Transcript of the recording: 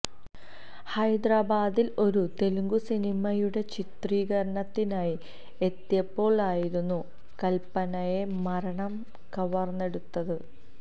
ഹൈദരാബാദില് ഒരു തെലുങ്ക് സിനിമയുടെ ചിത്രീകരണത്തിനായി എത്തിയപ്പോള് ആയിരുന്നു കല്പനയെ മരണം കവര്ന്നെടുത്തത്